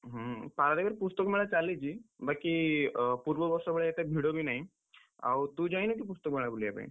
ହୁଁ, ପାରାଦ୍ୱୀପରେ ପୁସ୍ତକ ମେଳା ଚାଲିଚି, ବାକି ଅ ପୂର୍ବ ବର୍ଷ ଭଳି ଏତେ ଭିଡ ବି ନାହିଁ, ଆଉ ତୁ ଯାଇନୁ କି, ପୁସ୍ତକ ମେଳା ବୁଲିବା ପାଇଁ?